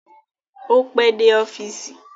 Ó pẹ́ dé ọ́fíìsì